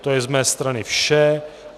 To je z mé strany vše.